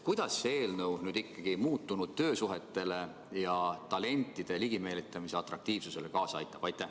Kuidas see eelnõu nüüd ikkagi muutunud töösuhetele ja talentide ligimeelitamisele kaasa aitab?